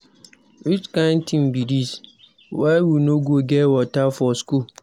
Which kin thing be dis, why we no go get water for school?